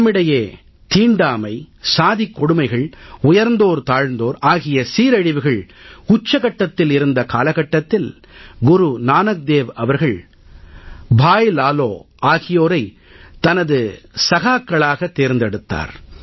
நம்மிடையே தீண்டாமை சாதிக் கொடுமைகள் உயர்ந்தோர்தாழ்ந்தோர் ஆகிய சீரழிவுகள் உச்சகட்டத்தில் இருந்த காலகட்டத்தில் குரு நானக் தேவ் அவர்கள் பாய் லாலோ பாய் லாலோ ஆகியோரைத் தனது சகாக்களாகத் தேர்ந்தெடுத்தார்